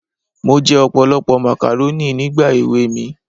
Mo jẹ ọ̀pọ̀lọpọ̀ màkàrónì nígbà èwe mi